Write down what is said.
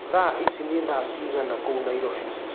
thaaĩcĩ nĩ thaa cĩĩgana kũũ nairobi